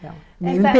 legal. Eme pê